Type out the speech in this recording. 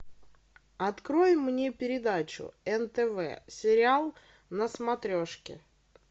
открой мне передачу нтв сериал на смотрешке